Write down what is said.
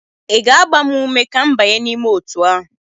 ị ga-agba m ume ka m banye n'ime otu ahụ?